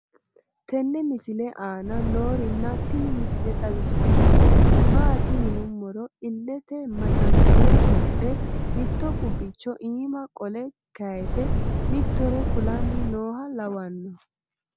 tenne misile aana noorina tini misile xawissannori maati yinummoro ileette maxanixire wodhe mitto qubicho iimma qole kayiise mitore kulanni nooha lawanno